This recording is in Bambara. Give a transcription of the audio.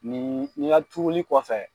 Nin n'i ya turuli kɔfɛ.